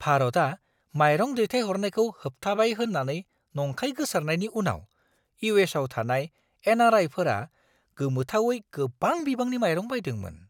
भारता मायरं दैथायहरनायखौ होबथाबाय होन्नानै नंखाय गोसारनायनि उनाव इउ.एस.आव थानाय एन.आर.आइ.फोरा गोमोथावै गोबां बिबांनि मायरं बायदोंमोन!